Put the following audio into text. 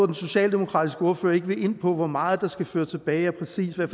den socialdemokratiske ordfører ikke vil ind på hvor meget der skal føres tilbage og præcis hvad